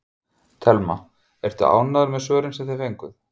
Telma: Ertu ánægður með svörin sem þið fenguð?